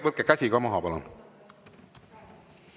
Võtke käemärk ka maha, palun!